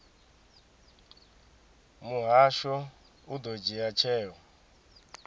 muhasho u ḓo dzhia tsheo